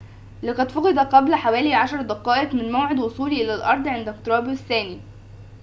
لقد فُقد قبل حوالي عشر دقائق من موعد وصوله إلى الأرض عند اقترابه الثاني